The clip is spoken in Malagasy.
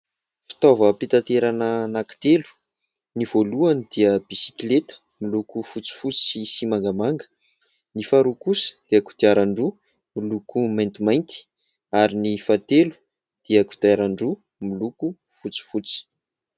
Fitaovam-pitaterana anankitelo : ny voalohany dia biskleta miloko fotsifotsy sy mangamanga, ny faharoa kosa dia kodiaran-droa miloko maintimainty ary ny fahatelo dia kodiaran-droa miloko fotsifotsy.